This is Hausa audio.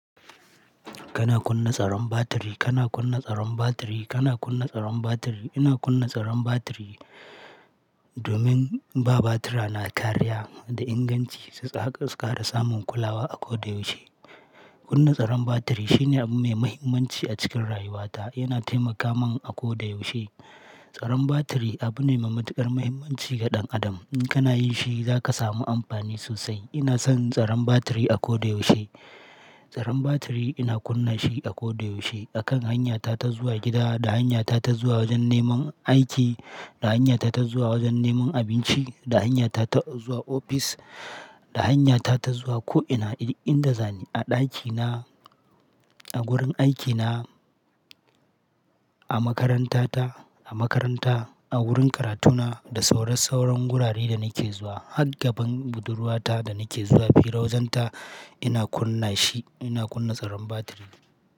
Kana kunna tsaron batiri, kana kunna tsaron batiri, kana kunna tsaron batiri. Ina kunna tsaron batiri domin ba batira na kariya da inganci su tsaka su kara samun kulawa a koda yaushe. Kunna tsaron batiri shine abu mai mahimmanci a cikin rayuwata. Yana taimaka min a koda yaushe. Tsaron batiri abu ne mai matuƙar mahimmanci ga ɗan adam. In kana yin shi, za ka samu amfani sosai. Ina son tsaron batiri a koda yaushe. Tsaron batiri ina kunna shi a koda yaushe. A kan hanyata ta zuwa gida, da hanyata ta zuwa wajen neman aiki, da hanyata ta zuwa wajen neman abinci, da hanyata ta zuwa ofis, da hanyata ta zuwa ko ina du inda zani. A ɗakina, a wurin aikina, a makarantata, a makaranta, a wurin karatuna, da sauran sauran wuraren da nake zuwa. Hagaban budurwata da nake zuwa, fira wajenta ina kunna shi. Ina kunna tsaron batiri.